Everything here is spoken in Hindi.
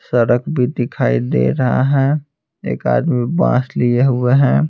सड़क भी दिखाई दे रहा है एक आदमी बांस लिए हुए है।